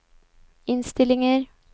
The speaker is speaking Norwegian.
innstillinger